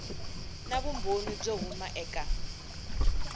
na vumbhoni byo huma eka